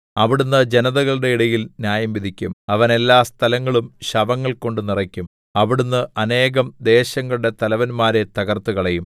അവിടുന്ന് ജനതകളുടെ ഇടയിൽ ന്യായംവിധിക്കും അവൻ എല്ലാ സ്ഥലങ്ങളും ശവങ്ങൾകൊണ്ട് നിറയ്ക്കും അവിടുന്ന് അനേകം ദേശങ്ങളുടെ തലവന്മാരെ തകർത്തുകളയും